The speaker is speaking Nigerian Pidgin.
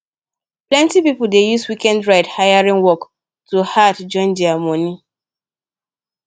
plenty people dey use weekend ride hailing work to add join their money